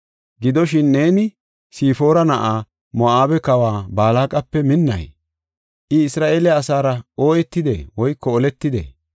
Gidoshin neeni Sifoora na7aa, Moo7abe kawa Balaaqape minnay? I Isra7eele asaara ooyetide woyko oletidee?